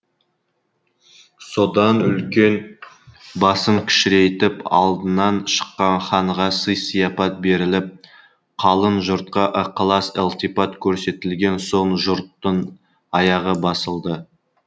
содан үлкен басын кішірейтіп алдынан шыққан ханға сый сияпат беріліп қалың жұртқа ықылас ілтипат көрсетілген соң жұрттың аяғы басылды